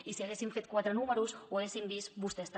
i si haguessin fet quatre números ho haguessin vist vostès també